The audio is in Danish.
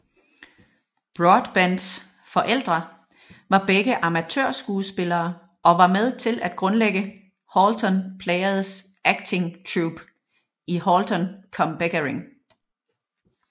Broadbents forældre var begge amatørskuespillere og var med til at grundlægge Holton Players acting troupe i Holton cum Beckering